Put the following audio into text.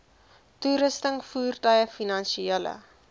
toerusting voertuie finansiële